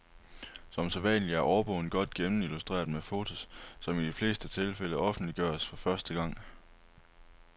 Som sædvanlig er årbogen godt gennem illustreret med fotos som i de fleste tilfælde offentliggøres for første gang.